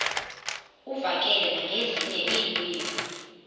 uvakale nangezinye iilwimi